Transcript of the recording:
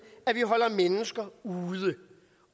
at vi holder mennesker ude